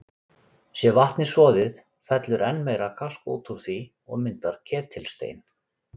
Sé vatnið soðið, fellur enn meira kalk út úr því og myndar ketilstein.